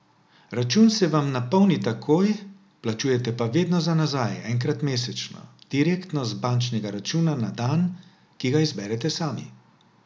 Račun se vam napolni takoj, plačujete pa vedno za nazaj, enkrat mesečno, direktno z bančnega računa na dan, ki ga izberete sami.